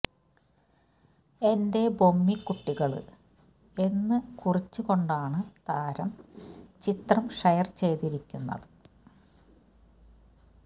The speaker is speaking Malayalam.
എന്റെ ബൊമ്മി കുട്ടികള് എന്ന് കുറിച്ചുകൊണ്ടാണ് താരം ചിത്രം ഷെയർ ചെയ്തിരിക്കുന്നത്